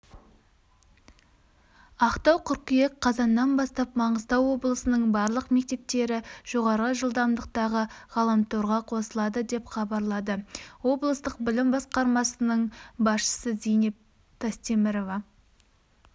ақтау қыркүйек қаз қазаннан бастап маңғыстау облысының барлық мектептері жоғары жылдамдықтағы ғаламторға қосылады деп хабарлады облыстық білім басқармасының басшысызейнеп тастемірова